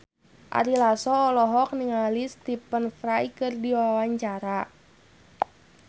Ari Lasso olohok ningali Stephen Fry keur diwawancara